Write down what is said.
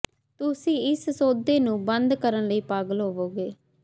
ਤੁਸੀਂ ਇਸ ਸੌਦੇ ਨੂੰ ਬੰਦ ਕਰਨ ਲਈ ਪਾਗਲ ਹੋਵੋਗੇ